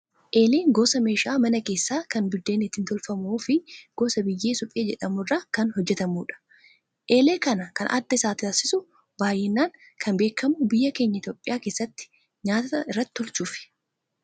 Eeleen gosa meeshaa mana keessaa kan buddeenni itti tolfamuu fi gosa biyyee suphee jedhamu irraa kan hojjatamudha. Eelee kana kan adda taasisu baay'inaan kan beekamu biyya keenya Itoophiyaa keessatti nyaata irratti tolchuufi.